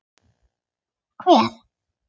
Hver?